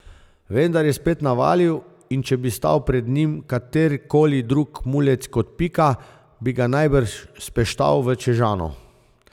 Vendar je spet navalil, in če bi stal pred njim katerikoli drug mulec kot Pika, bi ga najbrž speštal v čežano.